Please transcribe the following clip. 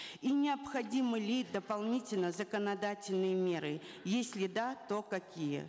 и необходимы ли дополнительно законодательные меры если да то какие